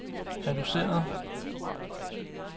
reduceret